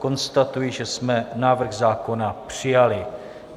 Konstatuji, že jsme návrh zákona přijali.